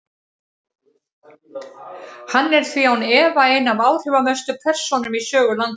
Hann er því án efa ein af áhrifamestu persónum í sögu landsins.